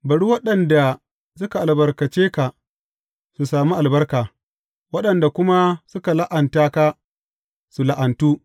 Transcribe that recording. Bari waɗanda suka albarkace ka, su sami albarka waɗanda kuma suka la’anta ka, su la’antu!